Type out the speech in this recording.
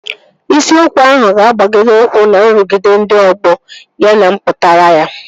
Isiokwu ahụ ga-agbado ụkwụ na nrụgide ndị ọgbọ ya na mpụtara ya